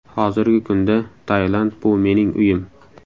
Hozirgi kunda Tailand bu mening uyim.